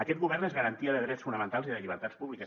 aquest govern és garantia de drets fonamentals i de llibertats públiques